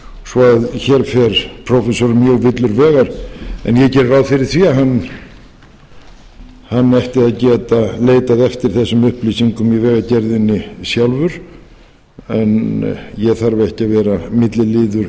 svo hér fer prófessorinn mjög villur vegar en ég geri ráð fyrir því að hann ætti að geta leitað eftir þessum upplýsingum í vegagerðinni sjálfur en ég þarf ekki að vera milliliður